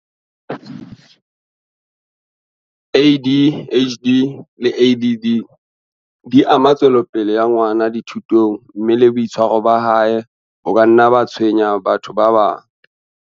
ADHD le ADD di ama tswelopele ya ngwana di thutong mme le boitshwaro ba hae bo ka nna ba tshwenya batho ba bang.